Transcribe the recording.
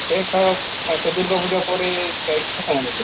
ଏଇ ଥର ସେ ଦୁର୍ଗା ପୂଜା ପରେ ଯାଇକି ହବ ସେ